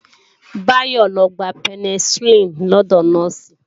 Báyọ́ lọ gba Penicilin lọ́dọ̀ Nọ́ọ̀sì